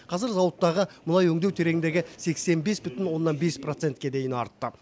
қазір зауыттағы мұнай өңдеу тереңдігі сексен бес бүтін оннан бес процентке дейін артты